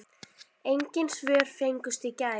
Engin svör fengust í gær.